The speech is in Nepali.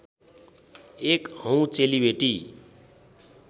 एक हौँ चेलीबेटी